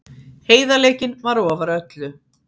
Heiðarleikinn var ofar öllu.